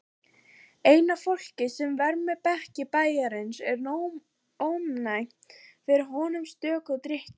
Eina fólkið sem vermir bekki bæjarins er ónæmt fyrir honum sökum drykkju.